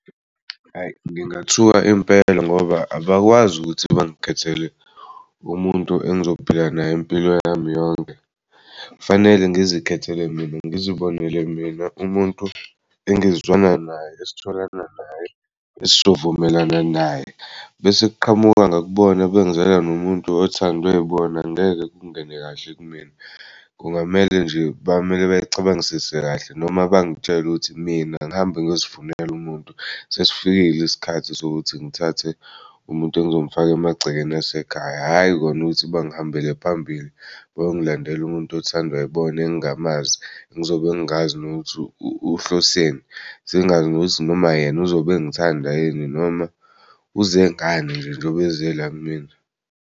Ayi ngingathuka impela ngoba abakwazi ukuthi bengikhethele umuntu engizophila naye impilo yami yonke fanele ngizikhethele mina ngizibonele mina umuntu engizwana naye esitholana naye esizovumelana naye bese kuqhamuka ngakubona bengizela nomuntu othandwe ibona ngeke kungene kahle kumina. Kungamele nje bamele bay'cabangisise kahle noma bangitshela ukuthi mina ngihambe ngiyozifunela umuntu sesifikile isikhathi sokuthi ngithathe umuntu engizomfak'emagcekeni asekhaya, hhayi kona ukuthi bangihambele phambili bayongilandela umuntu othandwa yibona engingamazi ngizobe ngingazi nokuthi uhloseni ngingazi nokuthi noma yena uzobe engithanda yini noma uze ngani njengoba eze la kumina.